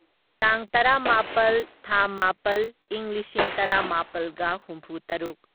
ꯇꯥꯡ ꯇꯔꯥꯃꯥꯄꯜ ꯊꯥ ꯃꯥꯄꯜ ꯢꯪ ꯂꯤꯁꯤꯡ ꯇꯔꯥꯃꯥꯄꯜꯒ ꯍꯨꯝꯐꯨꯇꯔꯨꯛ